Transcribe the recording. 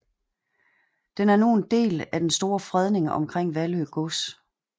Den er nu en del af den store fredning omkring Vallø Gods